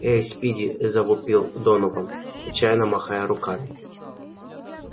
эй спиди завопил донован отчаянно махая руками